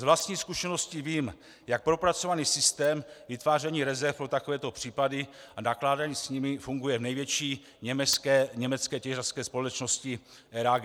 Z vlastní zkušenosti vím, jak propracovaný systém vytváření rezerv pro takovéto případy a nakládání s nimi funguje v největší německé těžařské společnosti RAG.